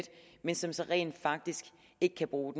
men som de så rent faktisk ikke kan bruge